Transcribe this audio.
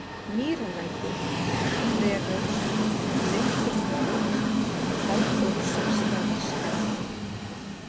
Mýralækur, Þverós, Leiftrunarhóll, Halldórsstaðaskarð